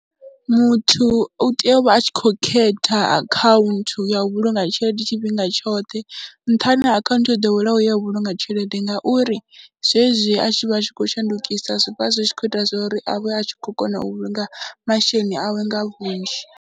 Muthu u tea u vha a tshi khou khetha akhaunthu ya u vhulunga tshelede tshifhinga tshoṱhe nṱhani ha akhaunthu yo ḓoweleaho ya u vhulunga tshelede ngauri zwezwi a tshi vha tshi khou shandukisa zwi vha zwi tshi khou ita zwa uri a vhe a tshi khou kona u vhulunga masheleni awe nga vhunzhi.